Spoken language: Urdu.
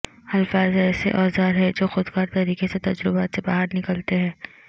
الفاظ ایسے اوزار ہیں جو خود کار طریقے سے تجربات سے باہر نکلتے ہیں